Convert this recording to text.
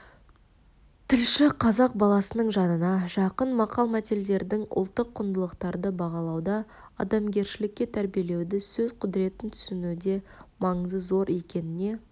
тілші қазақ баласының жанына жақын мақал-мәтедердің ұлттық құндылықтарды бағалауда адамгершілікке тәрбиелеуде сөз құдіретін түсінуде маңызы зор екеніне